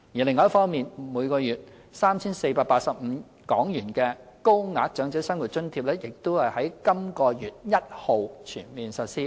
另一方面，每月 3,485 港元的高額長者生活津貼亦已在本月1日全面實施。